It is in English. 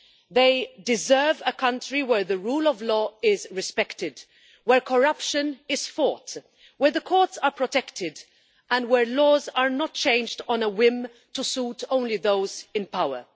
They deserve as we all do a country where the rule of law is respected, where corruption is fought, where the courts are protected and where laws are not changed on a whim to suit only those in power.